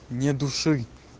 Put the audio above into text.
не души